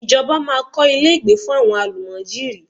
Ìjọba máa kọ́ ilé ìgbé fún àwọn àlùmájèrí.